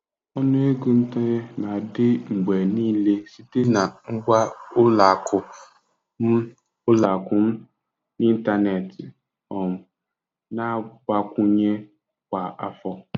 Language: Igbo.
Ọnụ ego ntanye na-adị mgbe niile site na ngwa ụlọ akụ m ụlọ akụ m n'ịntanetị um na-agbakwụnye kwa afọ.